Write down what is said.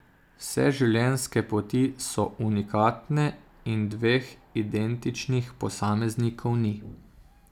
Vse življenjske poti so unikatne in dveh identičnih posameznikov ni.